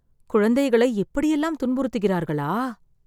குழந்தைகள் இப்படியெல்லாம் துன்புறுத்துகிறார்களா